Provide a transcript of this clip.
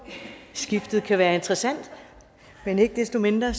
skiftet kan være interessant ikke desto mindre